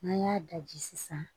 N'an y'a daji sisan